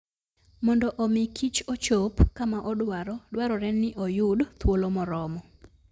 Mondo omi kichochop kama odwaro, dwarore ni oyud thuolo moromo.